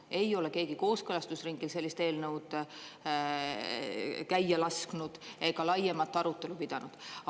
Ei ole keegi kooskõlastusringil sellist eelnõu käia lasknud ega laiemat arutelu pidanud.